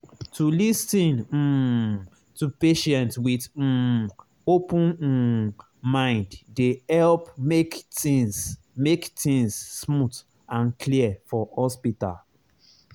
to lis ten um to patient with um open um mind dey help make things make things smooth and clear for hospital.